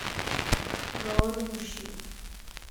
голодный мужчина